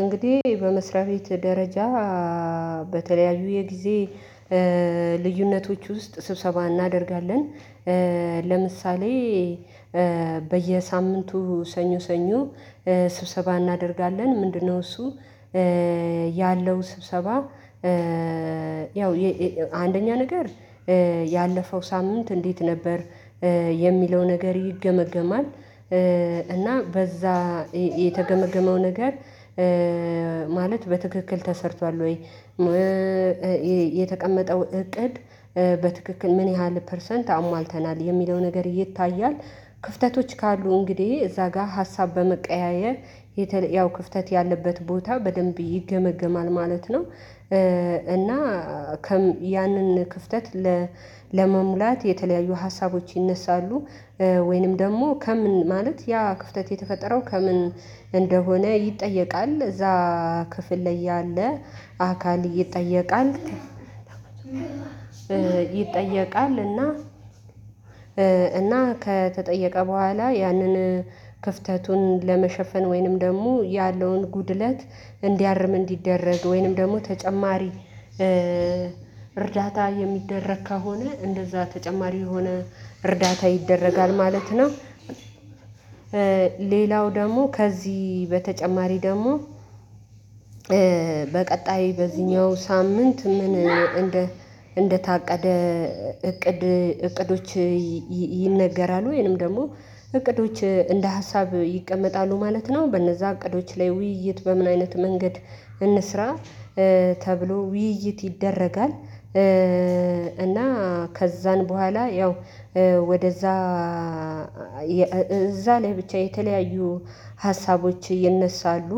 እንግዲህ በመስሪያ ቤት ደረጃ በተለያዩ የጊዜ ልዩነቶች ውስጥ ስብሰባ እናደርጋለን። ለምሳሌ በየሳምንቱ ሰኞ ሰኞ ስብሰባ እናደርጋለን። ምንድነው እሱ ያለው ስብሰባ ያው አንደኛ ነገር ያለፈው ሳምንት እንዴት ነበር? የሚለው ነገር ይገመገማል። እና በዛ የተገመገመው ነገር ማለት በትክክል ተሰርቷል ወይ? የተቀመጠው እቅድ በትክክል ምን ያህል ፐርሰንት አሟልተናል? የሚለው ነገር ይታያል። ክፍተቶች ካሉ እንግዲህ እዛ ጋር ሀሳብ በመቀያየር ያው ክፍተት ያለበት ቦታ በደንብ ይገመግማል ማለት ነው። እና ያንን ክፍተት ለመሙላት የተለያዩ ሀሳቦች ይነሳሉ ወይንም ደግሞ ከምን ማለት ያ ክፍተት የተፈጠረው ከምን እንደሆነ ይጠየቃል። እዛ ክፍል ላይ ያለ አካል ይጠየቃል። ይጠየቃል እና እና ከተጠየቀ በኋላ ያንን ክፍተቱን ለመሸፈን ወይንም ደግሞ ያለውን ጉድለት እንዲያርም እንዲደረግ ወይንም ደግሞ ተጨማሪ እርዳታ የሚደረግ ከሆነ እንደዛ ተጨማሪ የሆነ እርዳታ ይደረጋል ማለት ነው። ሌላው ደግሞ ከዚህ በተጨማሪ ደግሞ በቀጣይ በዚህኛው ሳምንት ምን እንደ እንደታቀደ እቅድ እቅዶች ይነገራሉ። ወይንም ደግሞ እቅዶች እንደ ሀሳብ ይቀመጣሉ ማለት ነው። በነዛ እቅዶች ላይ ውይይት በምን አይነት መንገድ እንስራ ተብሎ ውይይት ይደረጋል እና ከዛን በኋላ ያው ወደዛ እዛ ላይ ብቻ የተለያዩ ሀሳቦች ይነሳሉ።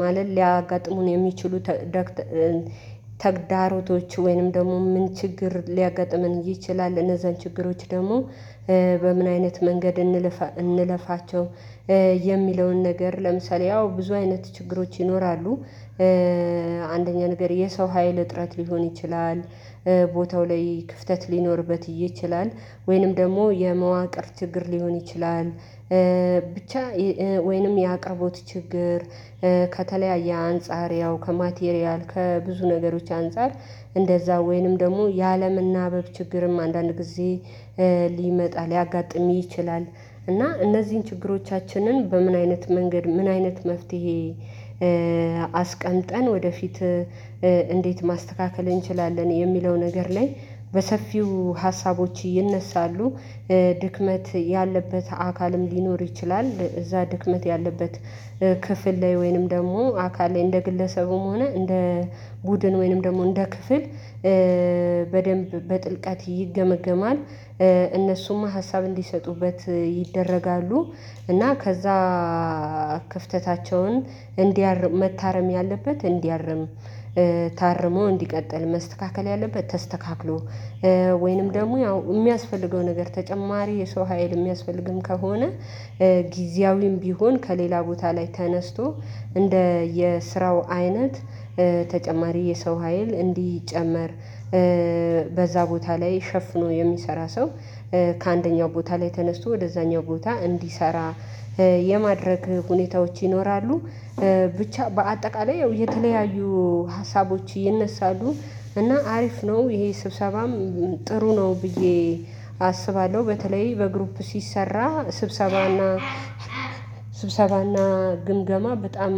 ማለት ሊያጋጥሙን የሚችሉ ተግዳሮቶች ወይንም ደግሞ ምን ችግር ሊያገጥመን ይችላል እነዛን ችግሮች ደግሞ በምን አይነት መንገድ እንለፋ እንለፋቸው የሚለውን ነገር ለምሳሌ ያው ብዙ አይነት ችግሮች ይኖራሉ። አንደኛ ነገር የሰው ሀይል እጥረት ሊሆን ይችላል። ቦታው ላይ ክፍተት ሊኖርበት ይችላል። ወይንም ደግሞ የመዋቅር ችግር ሊሆን ይችላል። ብቻ ወይንም የአቀቦት ችግር ከተለያየ አንፃር ያው ከማቴሪያል ከብዙ ነገሮች አንፃር እንደዛ ወይንም ደግሞ ያለመናበብ ችግርም አንዳንድ ጊዜ ሊመጣ ሊያጋጥም ይችላል። እና እነዚህን ችግሮቻችንን በምን አይነት መንገድ ምን አይነት መፍትሄ አስቀምጠን ወደፊት እንዴት ማስተካከል እንችላለን? የሚለው ነገር ላይ በሰፊው ሀሳቦች ይነሳሉ። ያለበት አካልም ሊኖር ይችላል። እዛ ድክመት ያለበት ክፍል ላይ ወይንም ደግሞ አካል ላይ እንደ ግለሰቡም ሆነ እንደ ቡድን ወይንም ደግሞ እንደ ክፍል በደንብ በጥልቀት ይገመገማል። እነሱም ሀሳብ እንዲሰጡበት ይደረጋሉ። እና ከዛ ክፍተታቸውን እንዲያርም መታረም ያለበት እንዲያርም ታርሞ እንዲቀጥል፤ መስተካከል ያለበት ተስተካክሎ ወይንም ደግሞ ያው የሚያስፈልገው ነገር ተጨማሪ የሰው ሀይል የሚያስፈልግም ከሆነ ጊዜያዊም ቢሆን ከሌላ ቦታ ላይ ተነስቶ እንደ የስራው አይነት ተጨማሪ የሰው ሀይል እንዲጨመር በዛ ቦታ ላይ ሸፍኖ የሚሰራ ሰው ከአንደኛው ቦታ ላይ ተነስቶ ወደዛኛው ቦታ እንዲሰራ የማድረግ ሁኔታዎች ይኖራሉ። ብቻ በአጠቃላይ የተለያዩ ሀሳቦች ይነሳሉ። እና አሪፍ ነው። ይሄ ስብሰባም ጥሩ ነው ብዬ አስባለሁ። በተለይ በግሩፕ ሲሰራ ስብሰባና ስብሰባና ግምገማ በጣም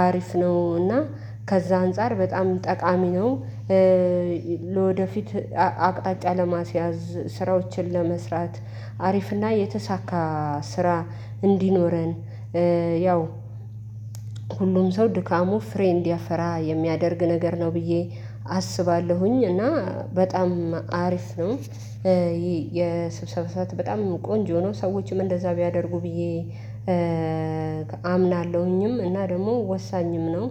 አሪፍ ነው እና ከዛ አንፃር በጣም ጠቃሚ ነው። ለወደፊት አቅጣጫ ለማስያዝ ስራዎችን ለመስራት አሪፍና የተሳካ ስራ እንዲኖረን ያው ሁሉም ሰው ድካሙ ፍሬ እንዲያፈራ የሚያደርግ ነገር ነው ብዬ አስባለሁኝ። እና በጣም አሪፍ ነው ይሄ የስብሰባ ሰዓት በጣም ቆንጆ ነው። ሰዎችም እንደዛ ቢያደርጉ ብዬ አምናለሁኝም እና ደግሞ ወሳኝም ነው።